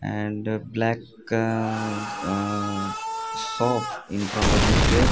and black ahh shop infront of this gate.